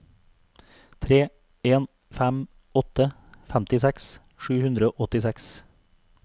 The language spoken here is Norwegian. tre en fem åtte femtiseks sju hundre og åttiseks